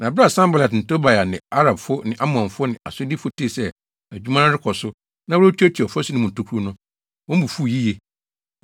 Na bere a Sanbalat ne Tobia ne Arabfo ne Amonfo ne Asdodfo tee sɛ adwuma no rekɔ so na wɔretuatua ɔfasu no mu atokuru no, wɔn bo fuw yiye.